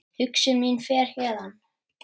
Hugsun mín fer héðan.